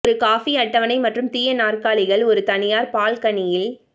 ஒரு காபி அட்டவணை மற்றும் தீய நாற்காலிகள் ஒரு தனியார் பால்கனியில்